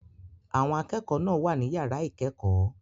Àwọn akẹ́kọ̀ọ́ náà wà ní yàrá ìkẹ́kọ̀ọ́.